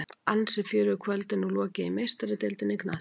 Ansi fjörugu kvöldi er nú lokið í Meistaradeildinni í knattspyrnu.